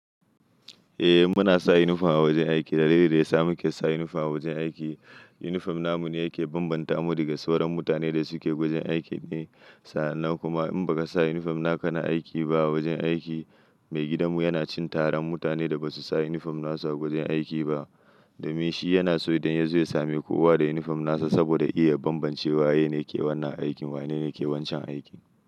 Eh muna sa uniform a wajen aiki. Dalilin da ya sa muke sa uniform a wajen aiki, uniform namu ne yake banbanta mu daga sauran mutane da suke wajen aiki ne. Sa'an nan kuma in baka sa uniform na ka na aiki ba a wajen aiki, maigidanmu yana cin tarar mutanen da basu sa uniform nasu awajen aiki ba. Da min shi yana so idan ya zo ya sami kowa da uniform nasa saboda ya iya banbancewa waye ke wannan aikin, wanene ke wancan aikin.